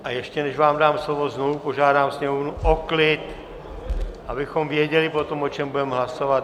A ještě než vám dám slovo, znovu požádám Sněmovnu o klid, abychom věděli potom, o čem budeme hlasovat.